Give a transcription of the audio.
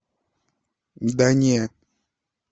да не